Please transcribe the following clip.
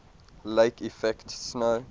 lake effect snow